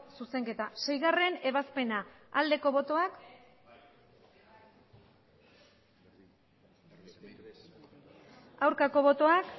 zuzenketa seiebazpena aldeko botoak aurkako botoak